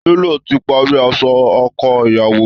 Télò ti pari aṣọ ọkọ iyàwó